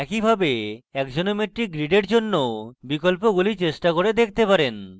একইভাবে আপনি axonometric grid in জন্য way বিকল্পগুলি চেষ্টা করে দেখতে পারেন